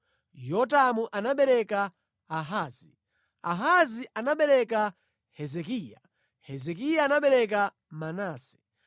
Yotamu anabereka Ahazi, Ahazi anabereka Hezekiya, Hezekiya anabereka Manase,